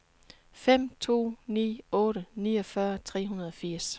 fem to ni otte niogfyrre tre hundrede og firs